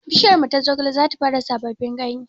Bishiyarmu ta zogale zata fara sababbin ganye